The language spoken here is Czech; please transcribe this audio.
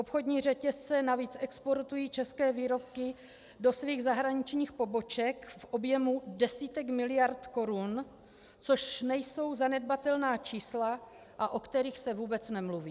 Obchodní řetězce navíc exportují české výrobky do svých zahraničních poboček v objemu desítek miliard korun, což nejsou zanedbatelná čísla, a o kterých se vůbec nemluví.